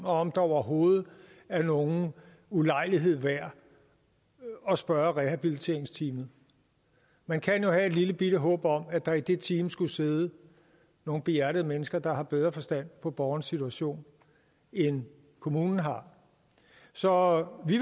om det overhovedet er nogen ulejlighed værd at spørge rehabiliteringsteamet man kan jo have et lillebitte håb om at der i det team skulle sidde nogle behjertede mennesker der har bedre forstand på borgerens situation end kommunen har så vi